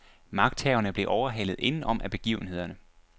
Magthaverne blev overhalet inden om af begivenhederne.